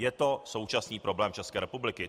Je to současný problém České republiky.